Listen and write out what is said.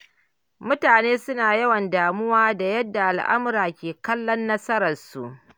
Mutane suna yawan damuwa da yadda al’umma ke kallon nasararsu.